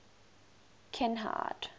kinhide